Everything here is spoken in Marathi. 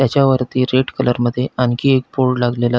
याच्या वरती रेड कलर मध्ये आणखी एक बोर्ड लागलेला--